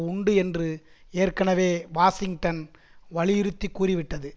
உண்டு என்று ஏற்கனவே வாஷிங்டன் வலியுறுத்தி கூறிவிட்டது